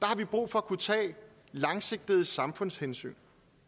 har vi brug for kunne tage langsigtede samfundshensyn